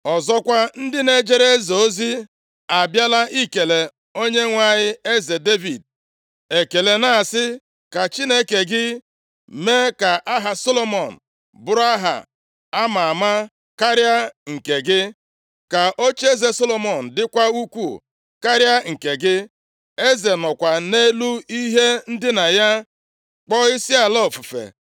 Ọzọkwa, ndị na-ejere eze ozi abịala ikele onyenwe anyị eze Devid ekele, na-asị, ‘ka Chineke gị mee ka aha Solomọn bụrụ aha a ma ama karịa nke gị, ka ocheeze Solomọn dịkwa ukwuu karịa nke gị.’ Eze nọkwa nʼelu ihe ndina ya kpọọ isiala ofufe,